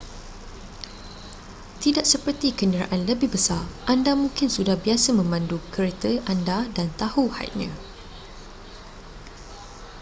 tidak seperti kenderaan lebih besar anda mungkin sudah biasa memandu kereta anda dan tahu hadnya